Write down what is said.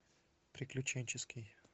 приключенческий